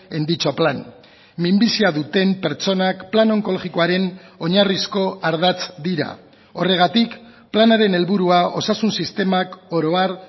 en dicho plan minbizia duten pertsonak plan onkologikoaren oinarrizko ardatz dira horregatik planaren helburua osasun sistemak oro har